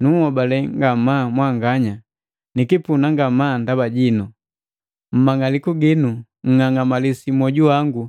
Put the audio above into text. Nunhobale ngamaa mwanganya, nikipuna ngamaa ndaba jinu! Mumang'aliku ginu nng'angamalisi mwoju wangu